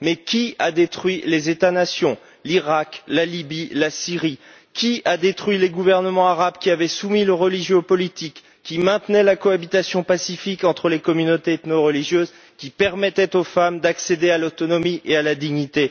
Mais qui a détruit les États nations qu'étaient l'Iraq, la Libye et la Syrie? Qui a détruit les gouvernements arabes qui avaient soumis le religieux au politique, maintenaient la cohabitation pacifique entre les communautés ethno religieuses, permettaient aux femmes d'accéder à l'autonomie et à la dignité?